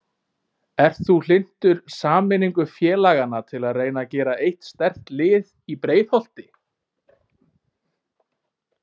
Ert þú hlynntur sameiningu félagana til að reyna að gera eitt sterkt lið í Breiðholti?